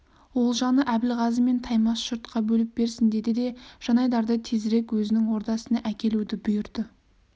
олжаны әбілғазы мен таймас жұртқа бөліп берсін деді де жанайдарды тезірек өзінің ордасына әкелуді бұйырды